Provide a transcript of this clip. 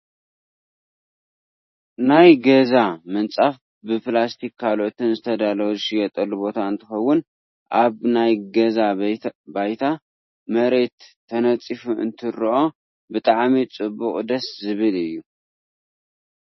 ናይ ገዛ ምንፃፍ ብፕላስቲክን ካልኦትን ዝተዳለወ ዝሽየጠሉ ቦታ እንትከውን ኣብ ናይ ገዛ ባይታ /መሬት/ተነፂፉ እንትርኦ ብጣዕሚ ፅቡቅ ደስ ዝብል እዩ።